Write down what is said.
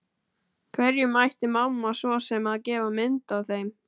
Hverjum ætti mamma svo sem að gefa mynd af þeim?